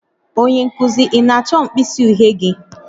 Onye nkuzi, ị na-achọ mkpịsị uhie gị?